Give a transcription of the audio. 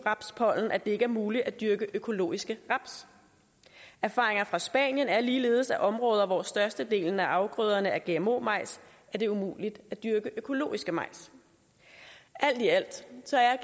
rapspollen at det ikke er muligt at dyrke økologiske raps erfaringer fra spanien er ligeledes at i områder hvor størstedelen af afgrøderne er gmo majs er det umuligt at dyrke økologiske majs alt i alt